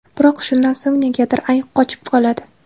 Biroq shundan so‘ng negadir ayiq qochib qoladi.